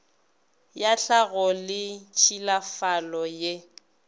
ya tlhago le tšhilafalo ye